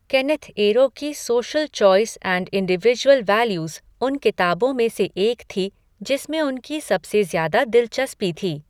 Kenneth Arrow की social choice and individual values उन किताबों में से एक थी जिसमें उनकी सबसे ज़्यादा दिलचस्पी थी।